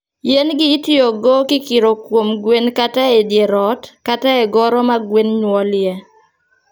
Yien gi itiyogo kikiro kuom gwen kato e dier ot, kata e goro ma gwen nyuolie